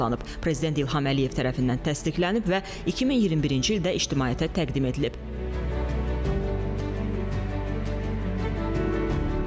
Görüləcək işlər nəticəsində müasir standartlara və memarlıq xüsusiyyətlərinə uyğun inşa olunacaq Füzuli şəhəri azad edilmiş ərazilərdə iri şəhərlərdən birinə çevriləcək.